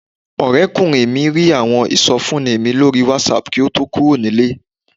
Ọ̀rẹ́kùnrin mi rí àwọn ìsọfúnni mi lórí Whatsapp kí ó tó kúrò nílé